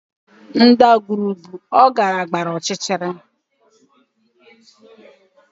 Ndagwurugwu ọ gara gbara ọchịchịrị